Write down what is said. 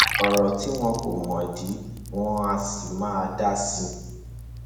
ọrọ tí wọn kọ mọdì wọn àá sì máa dà sí i